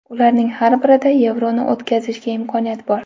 Ularning har birida Yevroni o‘tkazishga imkoniyat bor”.